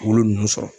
Bolo ninnu sɔrɔ